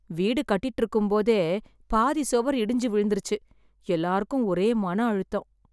வீடு கட்டிட்டு இருக்கும் போதே பாதி சுவர் இடிஞ்சு விழுந்துருச்சு. எல்லாருக்கும் ஒரே மன அழுத்தம்